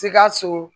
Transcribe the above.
Sikaso